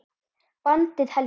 Bandið helga